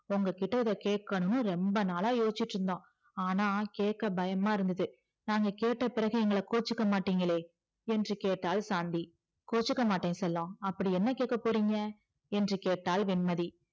உங்ககிட்ட இத கேக்கனுன்னு ரொம்ப நாளா யோசிச்சிட்டு இருந்தோம் ஆன்னா கேக்க பயமா இருந்தது நாங்க கேட்ட பிறகு எங்கள கொச்சிக்க மாட்டிங்களே என்று கேட்டால் சாந்தி கொச்சிக்க மாட்ட செல்லம் அப்டி என்ன கேக்க போறீங்க என்று கேட்டால் வெண்மதி